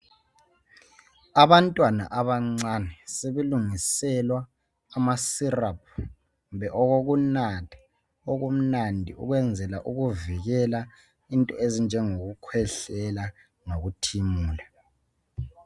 Abantwana abancane sebelungiselwa amaseraphu kumbe okokunatha okumnandi ukwenzela ukuvikela into ezinje ngokukwehlela lokutimula.